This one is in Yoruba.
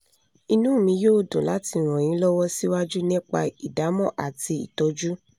inú mi yóò dùn láti ràn yín lọ́wọ́ síwájú nípa ìdámọ̀ àti ìtọ́jú